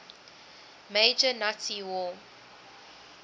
major nazi war